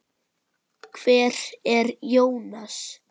Hver er Jónas?